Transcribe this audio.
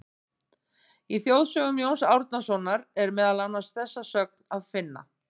Í Þjóðsögum Jóns Árnasonar er meðal annars þessa sögn að finna: